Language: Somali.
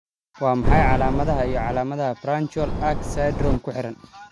Waa maxay calaamadaha iyo calaamadaha Branchial arch syndrome X ku xiran?